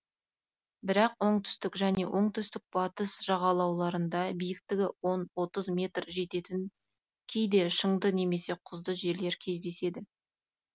бірақ оңтүстік және оңтүстік батыс жағалауларында биіктігі он тыз метр жететін кейде шыңды немесе құзды жерлер кездеседі